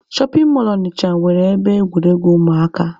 Shọpin mọlụ Ọnịcha nwere ebe egwuregwu ụmụaka.